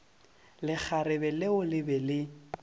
lekgarebe leo le be le